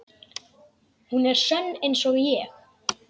Hún er sönn einsog ég.